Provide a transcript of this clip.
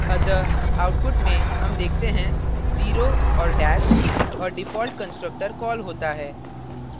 अतः output में हम देखते हैं zero और dash और default constructor कॉल होता है